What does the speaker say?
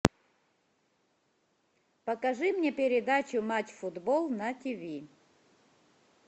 покажи мне передачу матч футбол на тв